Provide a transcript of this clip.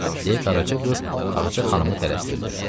Deyə Qaraca qız Ağca xanımı tələstirdi.